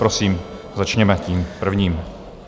Prosím, začněme tím prvním.